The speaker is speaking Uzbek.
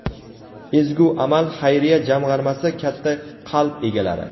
"Ezgu amal" xayriya jamg‘armasi - katta qalb egalari.